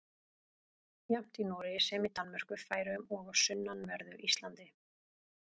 Jafnt í Noregi sem í Danmörku, Færeyjum og á sunnanverðu Íslandi.